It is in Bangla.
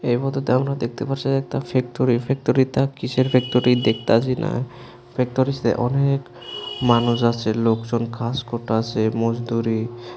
এর মধ্যে দেখতে পারছি একটা ফ্যেক্টরি ফ্যেক্টরিটা কিসের ফ্যেক্টরি দেখতে আছি না ফ্যেক্টরিতে অনেক মানুষজন আছে লোকজন কাজ করতে আছে মজদুরি।